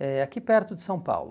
eh aqui perto de São Paulo.